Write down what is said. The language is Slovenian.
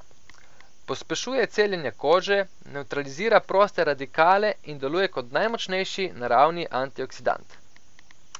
Pospešuje celjenje kože, nevtralizira proste radikale in deluje kot najmočnejši, naravni antioksidant.